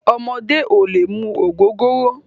Ọmọdé ò lè mu ògógóró.